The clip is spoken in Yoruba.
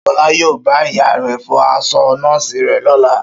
Ṣọlá yóò bá ìyá rẹ̀ fọ aṣọ nọ́ọ̀sì rẹ̀ lọ́la